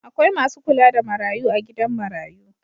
Akwai masu kula da marayu a gidan marayu